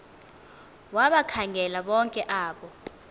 wabakhangela bonke abo